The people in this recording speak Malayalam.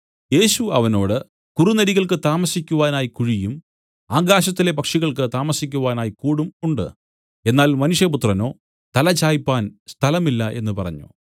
യേശു അവനോട് കുറുനരികൾക്ക് താമസിക്കുവാനായി കുഴിയും ആകാശത്തിലെ പക്ഷികൾക്ക് താമസിക്കുവാനായി കൂടും ഉണ്ട് എന്നാൽ മനുഷ്യപുത്രനോ തലചായിപ്പാൻ സ്ഥലമില്ല എന്നു പറഞ്ഞു